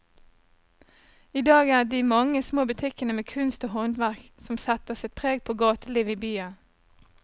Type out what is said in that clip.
I dag er det de mange små butikkene med kunst og håndverk som setter sitt preg på gatelivet i byen.